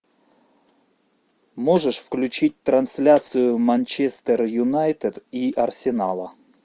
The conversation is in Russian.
можешь включить трансляцию манчестер юнайтед и арсенала